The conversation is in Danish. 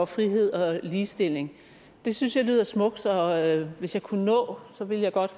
frihed og ligestilling det synes jeg lyder smukt og hvis jeg kunne nå ville jeg godt